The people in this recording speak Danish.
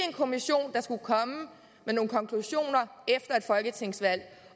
en kommission der skulle komme med nogle konklusioner efter et folketingsvalg